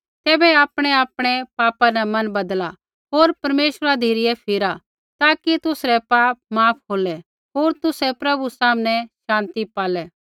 तैबै आपणैआपणै पापा न मन बदला होर परमेश्वरा धिरै फिरा ताकि तुसरै पाप माफ़ होलै होर तुसै प्रभु सामनै शान्ति पालै